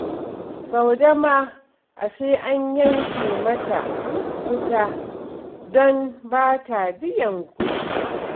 Saude ma ashe an yanke mata wuta don ba ta biyan kuɗi